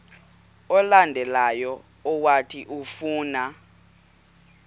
olandelayo owathi ufuna